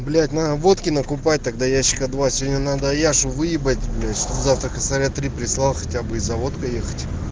блять на водки накупать тогда ящика два сегодня надо яшу выебать блять чтоб завтра косаря три хотяб прислал и за водкой ехать